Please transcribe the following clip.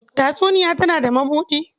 Tatsuniya tana da mabuɗi.